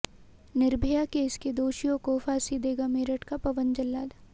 Nirbhaya case के दोषियों को फांसी देगा मेरठ का पवन जल्लाद